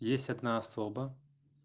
есть одна особа